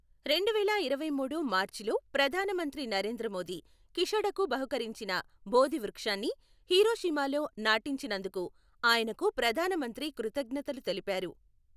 రెండువేల ఇరవైమూడు మార్చిలో ప్రధానమంత్రి నరేంద్ర మోదీ, కిషడకు బహుకరించిన బోధి వృక్షాన్ని హిరోషిమాలో నాటించినందుకు ఆయనకు ప్రధానమంత్రి కృతజ్ఙతలు తెలిపారు.